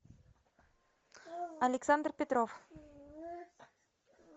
александр петров